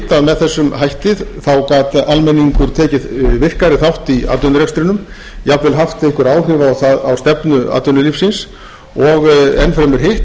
með þessum hætti gat almenningur tekið virkari þátt í atvinnurekstrinum jafnvel haft einhver áhrif á stefnu atvinnulífsins og enn fremur hitt